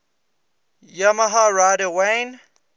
yamaha rider wayne